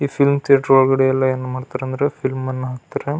ಈ film theatre ಒಳಗಡೆ ಎಲ್ಲ ಏನ್ ಮಾಡ್ತಾರಂದ್ರೆ ಫಿಲಂ ಅನ್ನ ಹಾಕ್ತಾರೆ.